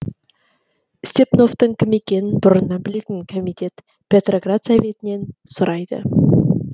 степновтың кім екенін бұрыннан білетін комитет петроград советінен сұрайды